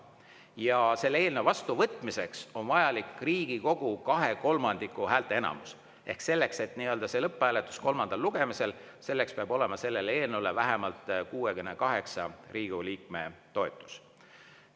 Ja selle vastuvõtmiseks on vajalik Riigikogu koosseisu kahekolmandikuline häälteenamus ehk lõpphääletusel kolmandal lugemisel peab olema sellele eelnõule vähemalt 68 Riigikogu liikme toetus.